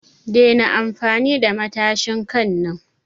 Dena amfani da matshin kai na!